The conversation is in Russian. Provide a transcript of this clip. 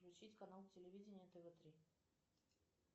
включить канал телевидения тв три